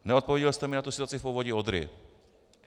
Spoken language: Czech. Neodpověděl jste mi na tu situaci v Povodí Odry.